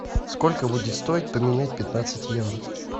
сколько будет стоить поменять пятнадцать евро